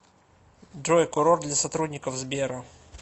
джой курорт для сотрудников сбера